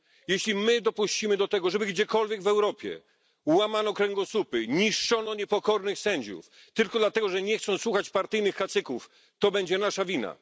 Jeśli my dopuścimy do tego, żeby gdziekolwiek w Europie łamano kręgosłupy, niszczono niepokornych sędziów tylko dlatego, że nie chcą słuchać partyjnych kacyków, to będzie nasza wina.